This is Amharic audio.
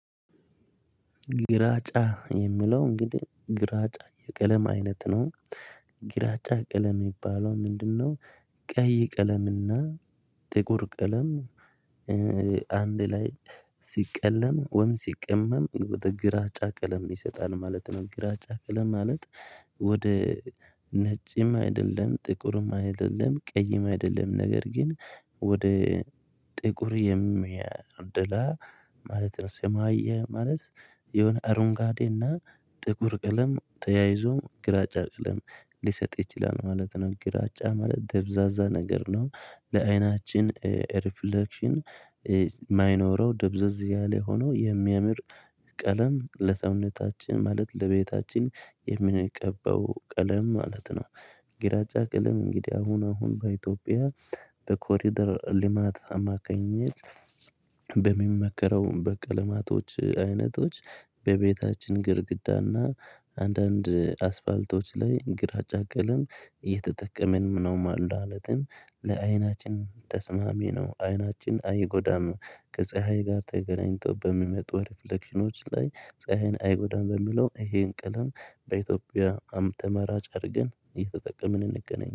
ግራጫ የሚለው እንግዲህ ግራጫ የቀለም አይነት ነው ግራጫ ቀለም የሚባለው ምንድነው ቀይ ቀለምና ጥቁር ቀለም አንድ ላይ ሲቀለም ወይም ሲቀመም ግራጫ ቀለም ይሰጣል ማለት ነው ግራጫ ቀለም ማለት ወደ ነጭም አይደለም ጥቁርም አይደለም ቀይም አይደለም ነገር ግን ወደ ጥቁር የሚያደላ ማለት ነው ሰማያዊ ማለት የሆነ አረንጓዴ እና ጥቁር ቀለም ተያይዞ ግራጫ ቀለም ሊሰጥ ይችላል ማለት ነው። ግራጫ ማለት ደብዛዛ ነገር ነው ለአይናችን ሪፍሌክሽን የማይኖረው ደብዘዝ ያለ ሆኖ የሚያምር ቀለም ለሰውነታችን ማለት ለቤታችን የምንቀባው ቀለም ማለት ነው ግራጫ ቀለም እንግዲህ አሁን አሁን በኢትዮጵያ በኮሪደር ልማት አማካኝነት በሚመከረው በቀለማቶች አይነቶች በቤታችን ግድግዳና አንዳንድ አስፋልቶች ላይ ግራጫ ቀለም እየተጠቀምን ነው ማለትም ለአይናችን ተስማሚ ነው አይናችን አይጎዳም ከፀሀይ ጋር ተገናኝቶ በሚመጡ ሪፍሌክሽኖች ላይ ፀሀይን አይወዳም በሚለው ይሄን ቅልም በኢትዮጵያም ተመራጭ አድርገን እየተጠቀምን እንገኛለን